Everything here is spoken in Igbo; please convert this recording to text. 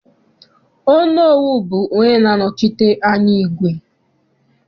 Onowu bụ onye na-anọchite anya igwe.